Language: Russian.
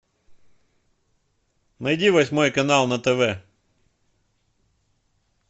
найди восьмой канал на тв